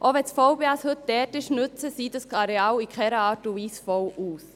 Auch wenn das VBS heute dort ist, nützt es dieses Areal in keiner Art und Weise voll aus.